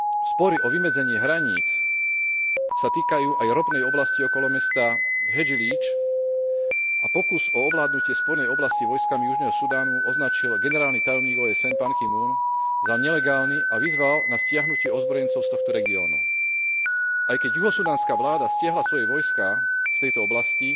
Spory o vymedzenie hraníc sa týkajú aj ropnej oblasti okolo mesta Hedžlídž a pokus o ovládnutie spornej oblasti vojskami Južného Sudánu označil generálny tajomník OSN Pan Ki mun za nelegálny a vyzval na stiahnutie ozbrojencov z tohto regiónu. Aj keď juhosudánska vláda stiahla svoje vojská z tejto oblasti,